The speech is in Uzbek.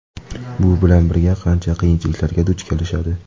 Bu bilan bir qancha qiyinchiliklarga duch kelishadi.